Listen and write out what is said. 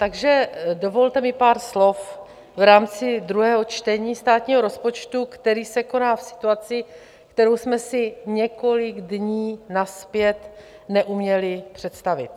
Takže dovolte mi pár slov v rámci druhého čtení státního rozpočtu, které se koná v situaci, kterou jsme si několik dní nazpět neuměli představit.